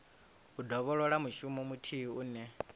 u dovholola mushumo muthihi une